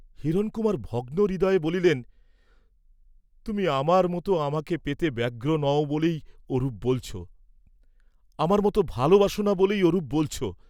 হিরণকুমার ভগ্ন হৃদয়ে বলিলেন, তুমি আমার মত আমাকে পেতে ব্যগ্র নও বলেই ওরূপ বলছ, আমার মত ভালবাস না বলেই ওরূপ বলছ।